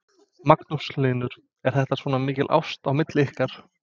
Magnús Hlynur: Er þetta svona mikið ást á milli ykkar?